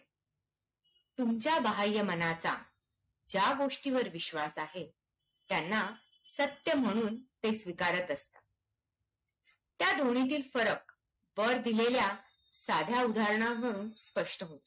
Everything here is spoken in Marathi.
तुमच्या बाह्यमनाचा ज्या गोष्टीवर विश्वास आहे, त्यांना सत्य म्हणून ते स्वीकारत असतं. त्या दोन्हीतील फरक वर दिलेल्या साध्या उहारणांवरून स्पष्ट होतं.